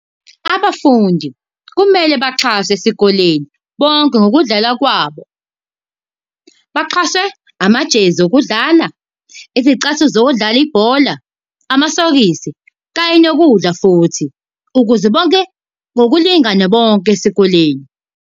Abafundi kumele baxhaswe esikoleni, bonke ngokudlala kwabo. Baxhaswe amajezi okudlala, izicathulo zokudlala ibhola, amasokisi kanye nokudla futhi ukuze bonke ngokulingana bonke esikoleni.